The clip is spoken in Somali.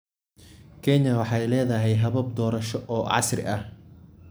Kenya waxay leedahay habab doorasho oo casri ah.